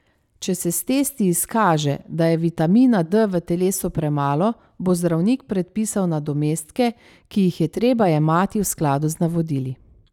Če se s testi izkaže, da je vitamina D v telesu premalo, bo zdravnik predpisal nadomestke, ki jih je treba jemati v skladu z navodili.